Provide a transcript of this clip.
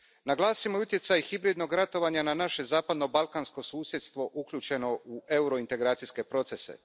Naglasimo i utjecaj hibridnog ratovanja na naše zapadnobalkansko susjedstvo uključeno u eurointegracijske procese.